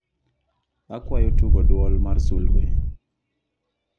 akwayo tugo duol mar sulwe